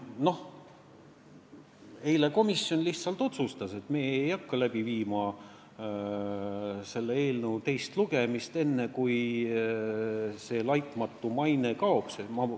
Eile komisjon otsustas, et meie ei hakka läbi viima selle eelnõu teist lugemist enne, kui see "laitmatu maine" tekstist kaob.